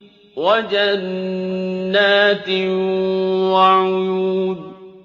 وَجَنَّاتٍ وَعُيُونٍ